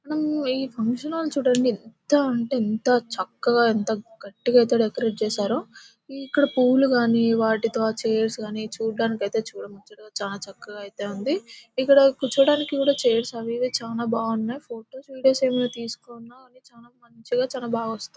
మనం ఈ function halls చూడండి ఎంత అంటే ఎంత చక్కగా ఎంత గట్టిగా అయితే డెకరేట్ చేశారు. ఇక్కడ పువ్వులు కానీ వాటితో చైర్స్ కానీ చూడ్డానికి అయితే చూడముచ్చటగా చానా చక్కగా అయితే ఉంది. ఇక్కడ కూర్చోవడానికి కూడా చైర్స్ అవి ఇవి చానా బాగున్నాయి. ఫొటోస్ వీడియోస్ ఏమన్నా తీసుకున్న అవి చానా మంచిగా చానా బాగా వస్తాయి.